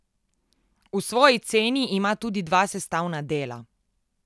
V svoji ceni ima tudi dva sestavna dela.